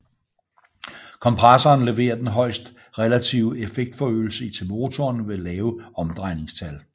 Kompressoren leverer den højeste relative effektforøgelse til motoren ved lave omdrejningstal